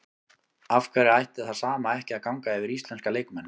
Af hverju ætti það sama ekki að ganga yfir íslenska leikmenn?